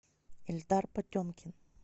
эльдар потемкин